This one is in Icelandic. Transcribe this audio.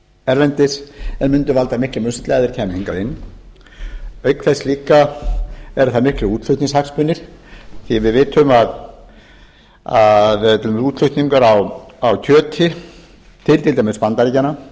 erlendis en mundu valda miklum usla ef þeir kæmu hingað auk þess líka eru það miklir útflutningshagsmunir því að við vitum að til dæmis útflutningur á kjöti til til dæmis bandaríkjanna